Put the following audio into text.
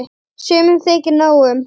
Sumum þykir nóg um.